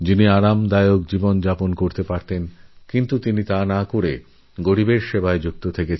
ওঁর এই ত্যাগ ওনিষ্ঠার প্রেরণায় সেসময় বহু মানুষ তাঁর পাশে দাঁড়িয়ে কর্মে ব্রতী হয়